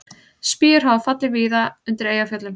Spýjur hafa fallið víða undir Eyjafjöllum